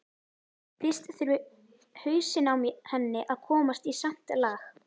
Fyrst þurfi hausinn á henni að komast í samt lag.